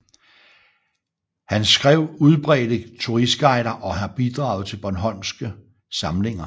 Han skrev udbredte turistguider og har bidraget til Bornholmske Samlinger